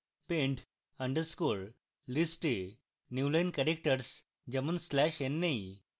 pend _ list এ newline characters যেমন \n নেই